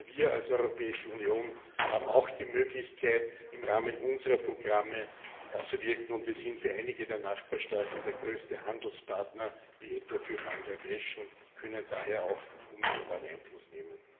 Wir als Europäische Union haben auch die Möglichkeit, im Rahmen unserer Programme einzuwirken. Wir sind für einige der Nachbarstaaten der größte Handelspartner, wie etwa für Bangladesch, und können daher auch unmittelbaren Einfluss nehmen.